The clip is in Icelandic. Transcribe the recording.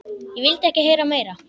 Ég vildi ekki heyra meira.